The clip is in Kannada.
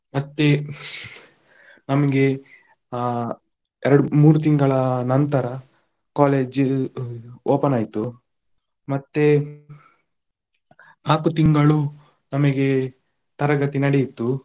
ಮತ್ತೆ ನಮ್ಗೆ ಆ ಎರಡು ಮೂರು ತಿಂಗಳ ನಂತರ college open ಆಯ್ತು, ಮತ್ತೆ ನಾಕು ತಿಂಗಳು ನಮಗೆ ತರಗತಿ ನಡೆಯಿತ್ತು.